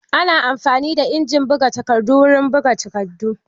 Ana amfani da injin buga takardu wurin buga takardu.